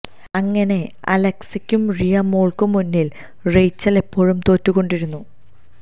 അങ്ങിനെ അലക്സക്കും റിയ മോള്ക്കും മുന്നില് റെയ്ച്ചല് എപ്പോളും തോറ്റു കൊണ്ടിരുന്നു